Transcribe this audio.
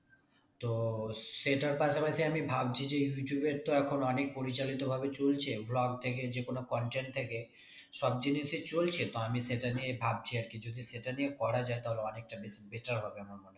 তো সেইটার পাশাপাশি আমি ভাবছি যে ইউটিউবের তো এখন অনেক পরিচালিত ভাবে চলছে vlog থেকে যেকোনো content থেকে সব জিনিসই চলছে তো আমি সেটা নিয়ে ভাবছি আরকি যদি সেটা নিয়ে করা যাই তাহলে অনেকটা বেশ better হবে আমার মনে হয়